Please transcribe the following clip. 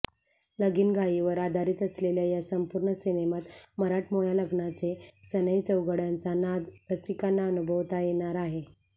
लगीनघाईवर आधारित असलेल्या या संपूर्ण सिनेमात मराठमोळ्या लग्नाचे सनई चौघडयांचा नाद रसिकांना अनुभवता येणार आहे